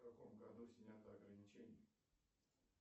в каком году снято ограничение